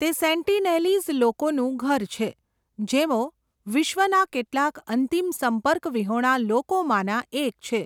તે સેન્ટીનેલીઝ લોકોનું ઘર છે, જેઓ વિશ્વના કેટલાક અંતિમ સંપર્ક વિહોણા લોકોમાંના એક છે.